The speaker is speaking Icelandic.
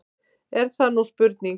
Er það nú spurning!